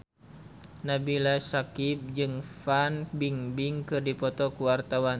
Nabila Syakieb jeung Fan Bingbing keur dipoto ku wartawan